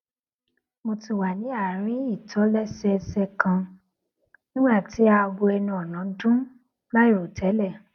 mo ti wà ní àárín ìtòlésẹẹsẹ kan nígbà tí aago ẹnu ònà dún láìròtélè